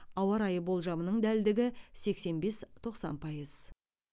ауа райы болжамының дәлдігі сексен бес тоқсан пайыз